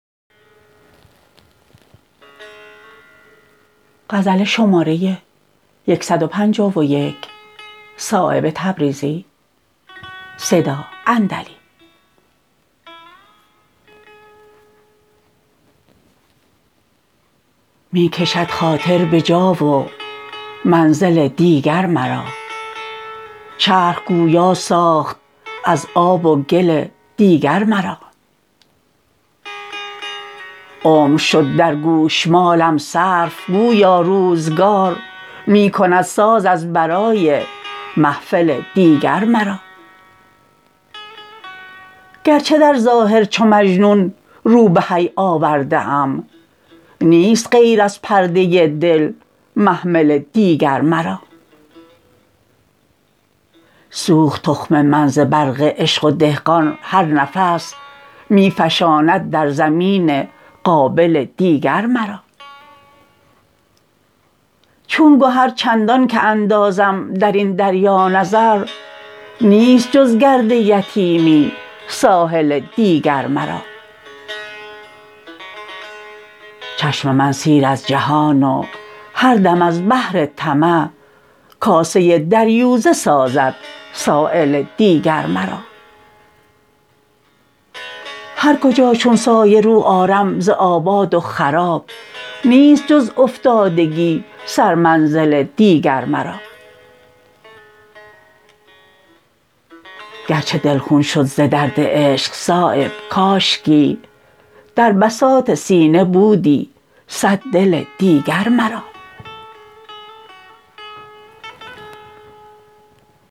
می کشد خاطر به جا و منزل دیگر مرا چرخ گویا ساخت از آب و گل دیگر مرا عمر شد در گوشمالم صرف گویا روزگار می کند ساز از برای محفل دیگر مرا گرچه در ظاهر چو مجنون رو به حی آورده ام نیست غیر از پرده دل محمل دیگر مرا سوخت تخم من ز برق عشق و دهقان هر نفس می فشاند در زمین قابل دیگر مرا چون گهر چندان که اندازم درین دریا نظر نیست جز گرد یتیمی ساحل دیگر مرا چشم من سیر از جهان و هر دم از بهر طمع کاسه دریوزه سازد سایل دیگر مرا هر کجا چون سایه رو آرم ز آباد و خراب نیست جز افتادگی سر منزل دیگر مرا گرچه دل خون شد ز درد عشق صایب کاشکی در بساط سینه بودی صد دل دیگر مرا